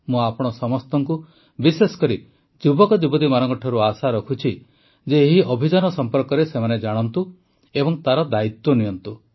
ମୁଁ ଆପଣ ସମସ୍ତଙ୍କୁ ବିଶେଷକରି ଯୁବକଯୁବତୀମାନଙ୍କଠାରୁ ଆଶା ରଖୁଛି ଯେ ଏହି ଅଭିଯାନ ସମ୍ପର୍କରେ ସେମାନେ ଜାଣନ୍ତୁ ଏବଂ ତାର ଦାୟିତ୍ୱ ନିଅନ୍ତୁ